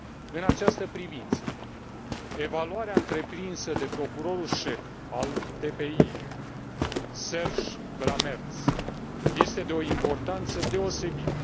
În această privință, evaluarea întreprinsă de procurorul șef al TPI, Serge Brammertz, este de o importanță deosebită.